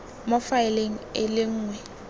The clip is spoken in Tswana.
mo faeleng e le nngwe